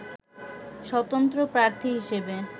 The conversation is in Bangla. স্বতন্ত্র প্রার্থী হিসেবে